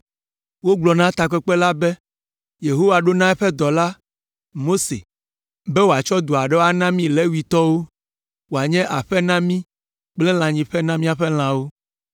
Wogblɔ na takpekpe la be, “Yehowa ɖo na eƒe dɔla, Mose, be wòatsɔ du aɖewo ana mí Levitɔwo, woanye aƒe na mí kple lãnyiƒe na míaƒe lãwo.”